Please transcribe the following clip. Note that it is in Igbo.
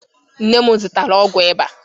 Nne m zụtara ọgwụ ịba.